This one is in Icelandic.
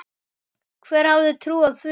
Hver hefði trúað því??